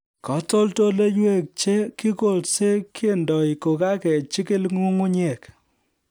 Katoldoloiwek che kikolse kendoi kokakejikil nyung'unyek